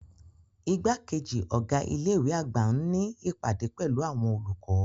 Igbakeji ọga ile-iwe agba n ni ipade pẹlu awọn olukọ.